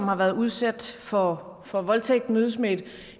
har været udsat for for voldtægt mødes med et